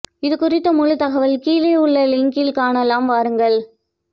இது குறித்த முழு தகவல் கீழே உள்ள லிங்கில் காணலாம் வாருங்கள்